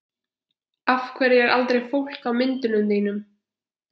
Af hverju er aldrei fólk á myndunum þínum?